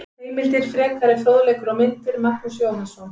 Heimildir, frekari fróðleikur og myndir: Magnús Jóhannsson.